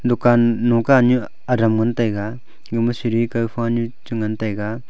dukan noka nyu adam ngantaiga gama siri kawfa nu chi ngantaiga.